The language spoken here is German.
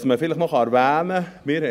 Was man vielleicht noch erwähnen kann: